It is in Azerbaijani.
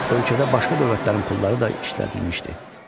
Ölkədə başqa dövlətlərin pulları da işlədilmişdi.